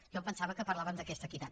jo em pensava que parlàvem d’aquesta equitat